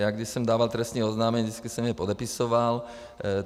Já když jsem dával trestní oznámení, vždycky jsem je podepisoval.